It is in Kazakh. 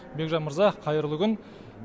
бекжан мырза қайырлы күн